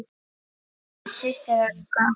Þín systir, Helga.